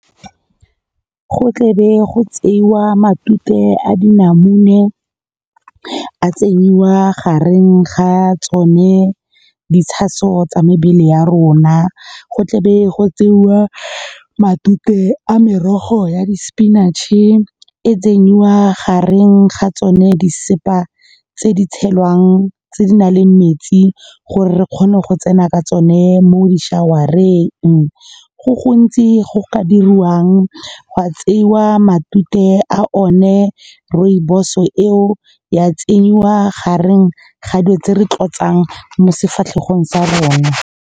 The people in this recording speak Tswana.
Go tle be go tsewa matute a dinamune a tsenyiwa gareng ga tsone ditshaso tsa mebele ya rona, go tle be go tsewa matute a merogo ya di-spinach-e e tsenyiwa gareng ga tsone disesepa tse di tshelwang tse di nang le metsi, gore re kgone go tsena ka tsone mo di-shower-eng. Go gontsi go ka diriwang, gwa tseiwa matute a one rooibos-o eo ya tsenyiwa gareng ga dilo tse re tlotsang mo sefatlhego sa rona.